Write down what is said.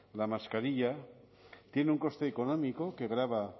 la mascarilla tiene un coste económico que grava